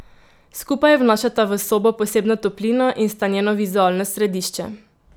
Skupaj vnašata v sobo posebno toplino in sta njeno vizualno središče.